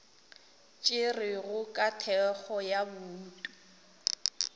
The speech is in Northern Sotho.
tšerwego ka thekgo ya bouto